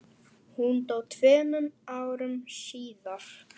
Hún dó tveimur árum síðar.